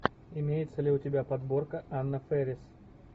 имеется ли у тебя подборка анна фэрис